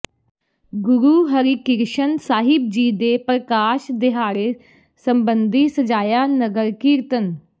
ਗੁਰੂ ਹਰਿਕਿ੍ਰਸ਼ਨ ਸਾਹਿਬ ਜੀ ਦੇ ਪ੍ਰਕਾਸ਼ ਦਿਹਾੜੇ ਸੰਬੰਧੀ ਸਜਾਇਆ ਨਗਰ ਕੀਰਤਨ